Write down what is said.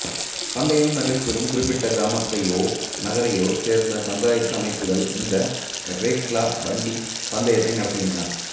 பந்தயம் நடைபெறும் குறிப்பிட்ட கிராமத்தையோ நகரையோச் சேர்ந்த பஞ்சாயத்து அமைப்புகள் இந்த ரேக்ளா வண்டிப் பந்தயத்தை நடத்துகின்றன